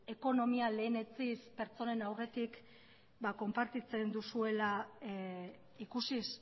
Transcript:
ekonomia lehenetsiz pertsonen aurretik konpartitzen duzuela ikusiz